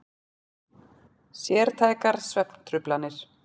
Sértækar svefntruflanir.